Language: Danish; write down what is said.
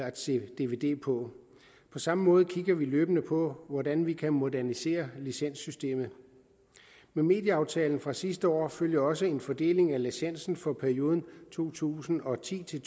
at se dvd på på samme måde kigger vi løbende på hvordan vi kan modernisere licenssystemet med medieaftalen fra sidste år følger også en fordeling af licensen for perioden to tusind og ti til